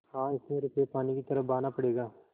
हाँ इसमें रुपये पानी की तरह बहाना पड़ेगा